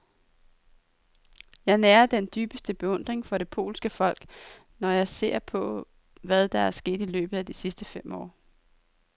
Jeg nærer den dybeste beundring for det polske folk, når jeg ser på, hvad der er sket i løbet af de sidste fem år.